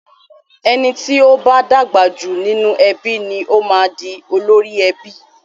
Ẹni tí o bá dàgbà jù nínú ẹbí ni o máa ń di olórí ẹbí.